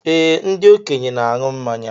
Ee, ndị okenye na aṅụ mmanya